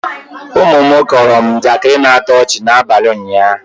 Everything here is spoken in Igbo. ụmụ m kọọrọ m njakịri na-atọ ọchị n'abalị ụnyahụ